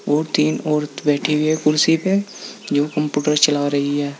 और तीन औरत बैठी हुई है कुर्सी पे जो कंप्यूटर चला रही है।